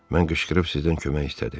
Mən qışqırıb sizdən kömək istədim.